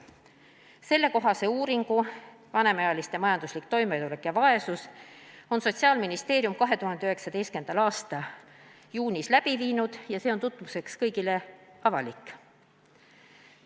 Sellekohase uuringu "Vanemaealiste majanduslik toimetulek ja vaesus" on Sotsiaalministeerium 2019. aasta juunis läbi viinud ja see on tutvumiseks kõigile avalik.